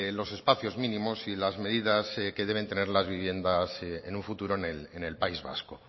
los espacios mínimos y las medidas que deben tener las viviendas en un futuro en el país vasco